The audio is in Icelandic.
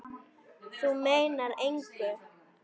Þú meinar engu!